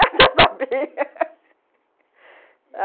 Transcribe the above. já sabia